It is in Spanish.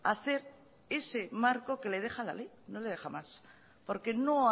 hacer ese marco que le deja la ley no le deja más porque no